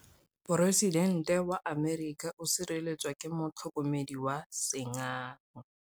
Poresitêntê wa Amerika o sireletswa ke motlhokomedi wa sengaga.